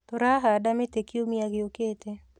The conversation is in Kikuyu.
Tũrahanda mĩtĩ kiumia gĩũkĩte